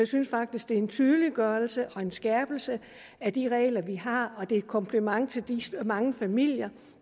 synes faktisk det er en tydeliggørelse og en skærpelse af de regler vi har og det er et kompliment til de mange familier